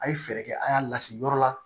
A ye fɛɛrɛ kɛ a y'a lasigi yɔrɔ la